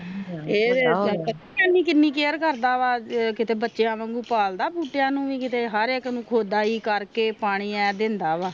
ਇਹ ਪਤਾ ਕੀਨੀ ਕਰਦਾ ਆ ਕੀਤੇ ਬੱਚਿਆਂ ਵਾਂਗੂ ਭਾਲਦਾ ਬੂਟਿਆਂ ਨੂੰ ਵੀ ਹਰ ਇਕ ਖੁਦਾਈ ਕਰਕੇ ਪਾਣੀ ਈਂ ਦਿੰਦਾ ਵ